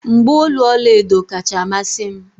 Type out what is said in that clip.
mgbaolu ọla edo kacha amasị m